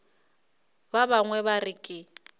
ba bangwe ba re ke